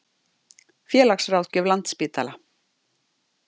Félagsráðgjöf Landspítala.